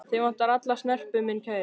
Þig vantar alla snerpu, minn kæri.